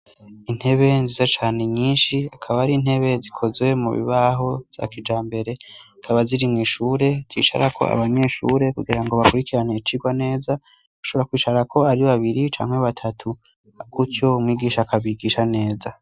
Intebe nziza cane nyinshi akaba ari intebe zikozwe mu bibaho za kija mbere akaba zirimw'ishure zisara ko abamyishure kugira ngo bakurikirane kirwa neza gushobora kwishara ko ari babiri camke batatu kutyo mwigisha akabigisha neza.